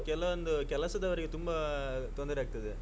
ಕೆಲವೊಂದು ಕೆಲಸದವರಿಗೆ ತುಂಬಾ ತೊಂದರೆ ಆಗ್ತದೆ.